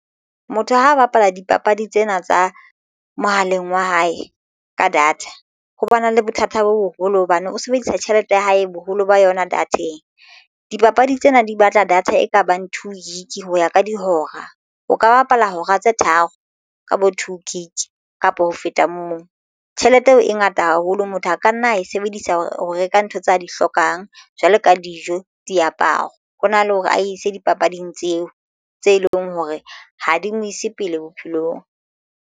Motho ha bapala dipapadi tsena tsa mohaleng wa hae ka data ho ba na le bothata bo boholo hobane o sebedisa tjhelete ya hae boholo ba yona data-eng. Dipapadi tsena di batla data ekabang two Gig ho ya ka dihora o ka bapala hora tse tharo ka bo two gig kapa ho feta mong. Tjhelete eo e ngata haholo motho a ka nna a e sebedisa ho reka ntho tse a di hlokang jwalo ka dijo, diaparo hona le hore a ise dipapading tseo tse leng hore ha di mo ise pele bophelong.